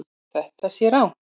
Þetta sé rangt.